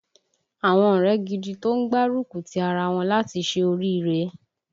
Àwọn ọ̀rẹ́ gidi tó ń gbárúkùtì ara wọn láti ṣe oríire